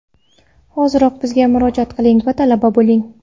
Hoziroq bizga murojaat qiling va talaba bo‘ling!